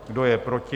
Kdo je proti?